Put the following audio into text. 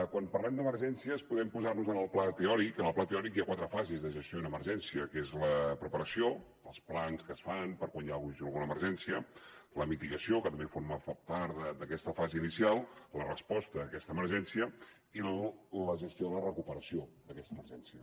quan parlem d’emergències podem posar nos en el pla teòric que en el pla teòric hi ha quatre fases de gestió d’una emergència que són la preparació els plans que es fan per a quan hi hagi alguna emergència la mitigació que també forma part d’aquesta fase inicial la resposta a aquesta emergència i la gestió de la recuperació d’aquesta emergència